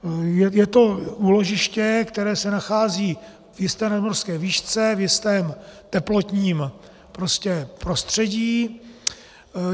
Je to úložiště, které se nachází v jisté nadmořské výšce, v jistém teplotním prostředí.